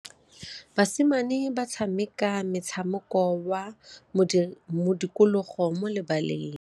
Basimane ba tshameka motshameko wa modikologô mo lebaleng.